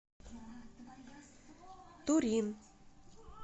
турин